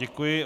Děkuji.